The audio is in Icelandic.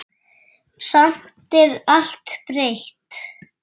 Samt er allt breytt.